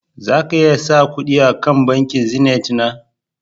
Za ka iya sa kudi a bankin "zenith " na